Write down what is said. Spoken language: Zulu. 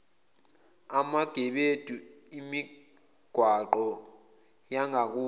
emagebedu emigwaqo yangakubo